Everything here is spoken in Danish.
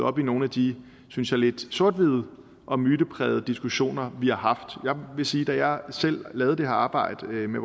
op i nogle af de synes jeg lidt sort hvide og myteprægede diskussioner vi har haft jeg vil sige at da jeg selv lavede det her arbejde med